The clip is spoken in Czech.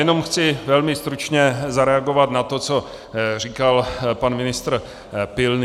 Jenom chci velmi stručně zareagovat na to, co říkal pan ministr Pilný.